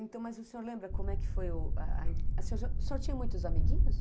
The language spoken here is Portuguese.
Então, mas o senhor lembra como é que foi o ah ah... O senhor já, o senhor tinha muitos amiguinhos?